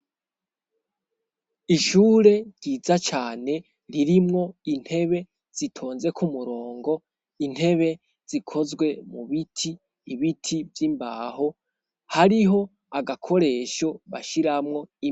Ishure ryiza cane ririmwo intebe zitonze ku murongo. Intebe zikozwe mu biti. Ibiti vy'imbaho. Hariho agakoresho bashiramwo...